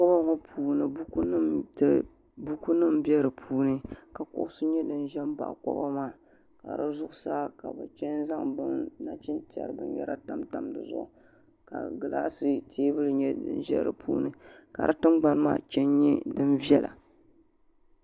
hool ŋɔ puuni buku nim n bɛ di puuni ka kuɣu nyɛ din ʒɛ baɣi koba maa ka di zuɣusaa ka bi chɛŋ zaŋ nachintiɛri binyɛra tamtam dizuɣu ka gilaas teebuli nyɛ din ʒɛ di puuni ka di tingbani maa chɛŋ nyɛ din viɛla